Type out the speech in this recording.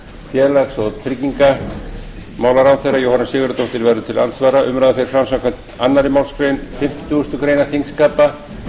félags og tryggingamálaráðherra jóhanna sigurðardóttir verður til andsvara umræðan fer fram samkvæmt annarri málsgrein fimmtugustu grein þingskapa